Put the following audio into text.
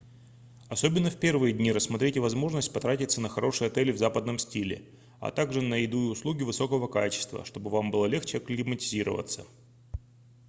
особенно в первые дни рассмотрите возможность потратиться на хорошие отели в западном стиле а также на еду и услуги высокого качества чтобы вам было легче акклиматизироваться